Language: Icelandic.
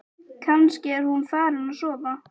Kannski er hún farin að sofa.